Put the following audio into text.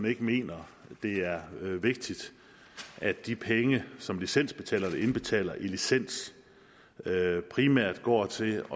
ikke mener det er vigtigt at de penge som licensbetalerne indbetaler i licens primært går til